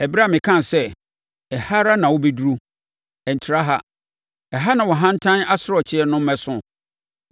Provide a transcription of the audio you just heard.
ɛberɛ a mekaa sɛ, ‘Ɛha ara na wobɛduru, ɛntra ha; ɛha na wʼahantan asorɔkyeɛ no mmɛso’?